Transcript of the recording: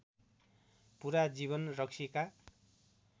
पुरा जीवन रक्सीका